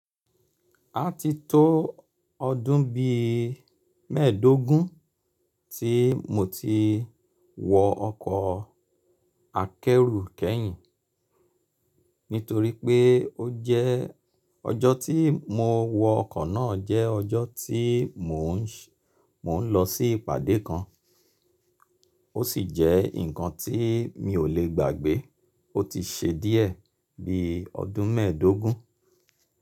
A ti tó ọdún bí mẹ́ẹ̀dógún tí mo ti wọ ọkọ̀ akẹ́rù kẹ́yìn. Nítorí pé ó jẹ́ ọjọ́ tí mo wọ ọkọ̀ náà jẹ́ ọjọ́ tí mò ń lọ sí ìpàdé kan. Ó sì jẹ́ nǹkan tí mi ò lè gbàgbé. Ó ti ṣe díẹ̀ bí ọdún mẹ́ẹ̀dógún.